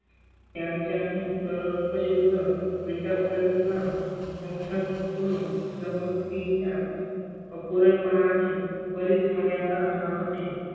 त्यांच्या ही तर्कशुद्ध विचारसरणी ला मुख्यत, तुम्ही समृती च्या अपुरेपणा ने बरीच मर्यादा राहते.